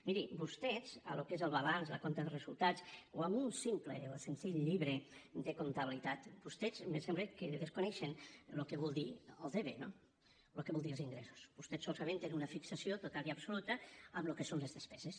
miri vostès el que és el balanç el compte de resultats o en un simple o senzill llibre de comptabilitat vostès me sembla que desconeixen el que vol dir el debe no el que volen dir els ingressos vostès solament tenen una fixació total i absoluta en el que són les despeses